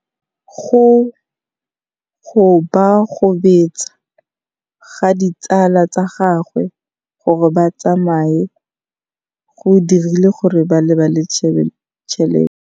Go gobagobetsa ga ditsala tsa gagwe, gore ba tsamaye go dirile gore a lebale tšhelete.